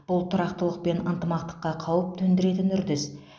бұл тұрақтылық пен ынтымаққа қауіп төндіретін үрдіс